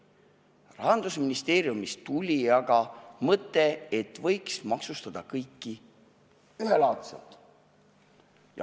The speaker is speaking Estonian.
Rahandusministeeriumist tuli aga mõte, et kõike võiks maksustada ühelaadselt.